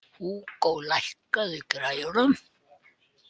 Húgó, lækkaðu í græjunum.